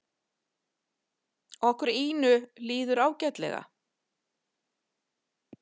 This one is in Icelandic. Og Ínu líður ágætlega.